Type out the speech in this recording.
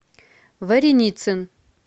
вареницын